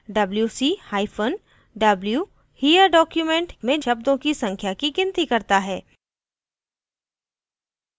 wc hyphen w here document में शब्दों की संख्या की गिनती करता है